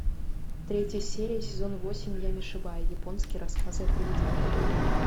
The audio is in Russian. третья серия сезон восемь ями шибаи японские рассказы о привидениях